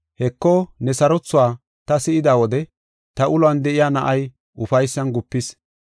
Heko ne sarothuwa ta si7ida wode ta uluwan de7iya na7ay ufaysan gupis.